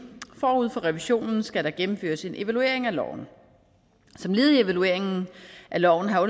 forud for revisionen skal der gennemføres en evaluering af loven som led i evalueringen af loven har